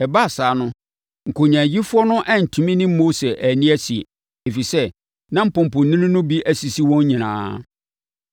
Ɛbaa saa no, nkonyaayifoɔ no antumi ne Mose anni asie, ɛfiri sɛ, na mpɔmpɔnini no bi asisi wɔn nyinaa.